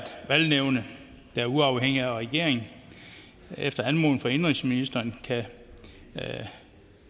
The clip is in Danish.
valgnævnet der er uafhængigt af regeringen efter anmodning fra indenrigsministeren kan